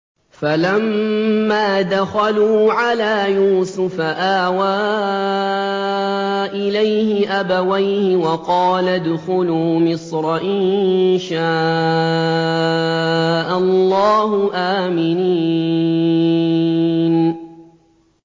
فَلَمَّا دَخَلُوا عَلَىٰ يُوسُفَ آوَىٰ إِلَيْهِ أَبَوَيْهِ وَقَالَ ادْخُلُوا مِصْرَ إِن شَاءَ اللَّهُ آمِنِينَ